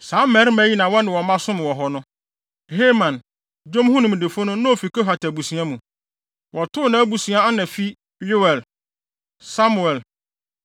Saa mmarima yi na wɔne wɔn mma som wɔ hɔ no. Heman, dwom ho nimdefo no, na ofi Kohat abusua mu. Wɔto nʼabusua ana fi Yoel, Samuel,